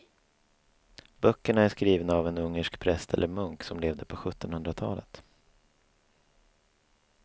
Böckerna är skrivna av en ungersk präst eller munk som levde på sjuttonhundratalet.